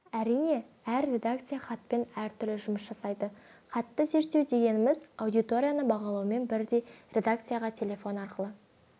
әрине әр редакция хатпен әртүрлі жұмыс жасайды хатты зерттеу дегеніміз аудиторияны бағалаумен бірдей редакцияға телефон арқылы